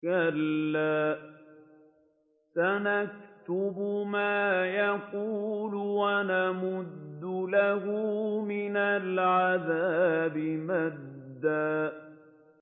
كَلَّا ۚ سَنَكْتُبُ مَا يَقُولُ وَنَمُدُّ لَهُ مِنَ الْعَذَابِ مَدًّا